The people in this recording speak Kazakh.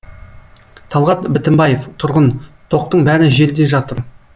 талғат бітімбаев тұрғын тоқтың бәрі жерде жатыр